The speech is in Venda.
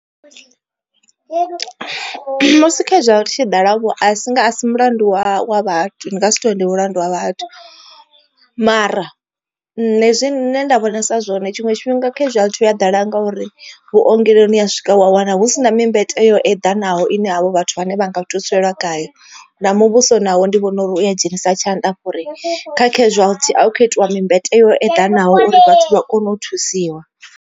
Musi casualty i tshi ḓala vho a si nga asi mulandu wa wa vhathu ni ngasi tori ndi mulandu wa vhathu. Mara nṋe zwine nda vhonisa zwone tshiṅwe tshifhinga casualty hu ya ḓala ngauri vhuongeloni wa swika wa wana husina mimbete yo edanaho ine havho vhathu vhane vha nga thuselwa khayo. Na muvhuso nawo ndi vhona uri u ya dzhenisa tshanḓa uri kha casualty ha hu kho itiwa mimbete yo eḓanaho uri vhathu vha kone u thusiwa.